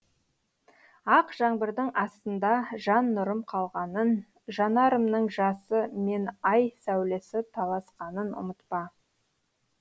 ақ жаңбырдың астында жан нұрым қалғанын жанарымның жасы мен ай сәулесі таласқанын ұмытпа